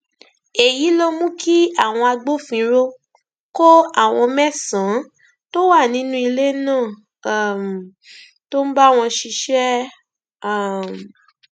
èyí ló mú kí àwọn agbófinró kó àwọn mẹsànán tó wà nínú ilé náà um tó ń bá wọn ṣiṣẹ um